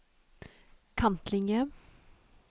kantlinje